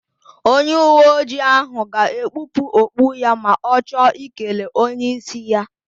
Onyeuweojii ahụ ga-ekpupụ okpu ya ma ọ chọ ikele onyeísí ya.